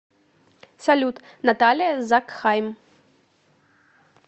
салют наталия закхайм